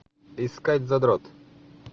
искать задрот